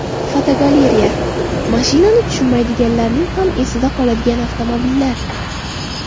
Fotogalereya: Mashinani tushunmaydiganlarning ham esida qoladigan avtomobillar.